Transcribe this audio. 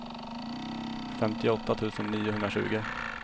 femtioåtta tusen niohundratjugo